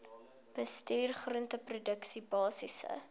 bestuur groenteproduksie basiese